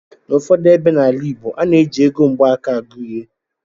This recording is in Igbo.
N'ụfọdụ ebe n'ala igbo, a na-eji ego mgbaaka agụ ihe